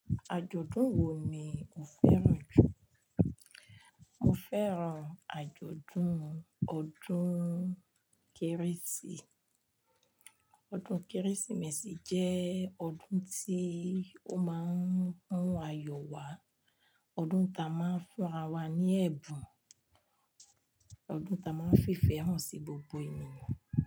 Àjòdún wo ni o fẹ́ràn jù? Mo fẹ́ràn àjòdún ọdún kérésì. Ọdún kérésìmesì jẹ́ ọdún tí ó máa ń mú ayọ̀ wá, ọdún tí a máa ń fún ara wa ní ẹ̀bùn, ọdún tí a máa ń fífẹ́ hàn sí gbogbo ènìyàn.